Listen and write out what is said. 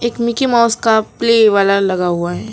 एक Mickey Mouse का play वाला लगा हुआ है।